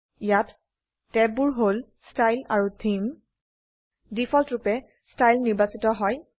ইয়াত ট্যাববোৰ হল ষ্টাইল আৰু থেমে ডিফল্টৰুপে ষ্টাইল নিৰ্বাচিত হয়